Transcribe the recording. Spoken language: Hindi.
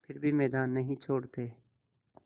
फिर भी मैदान नहीं छोड़ते